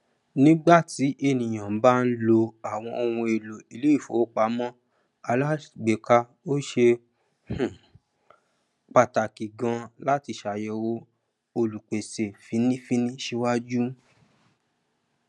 nígbàtí èniyàn bá ń lo àwọn ohunèlò iléìfowópamọ alágbéka ó ṣe um pàtàkì ganán láti ṣàyẹwò olùpèsè fínnífínní síwájú